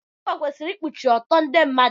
Akwa kwesịrị ikpuchi ọtọ ndị mmadụ.